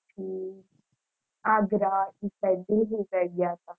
હમ આંધ્રા, ઈ side ગયા તા